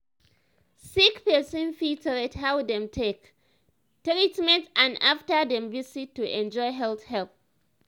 sick person fit rate how dem take treat am after dem visit to enjoy health help.